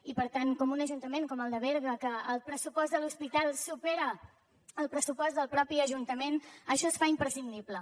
i per tant en un ajuntament com el de berga que el pressupost de l’hospital supera el pressupost del mateix ajuntament això es fa imprescindible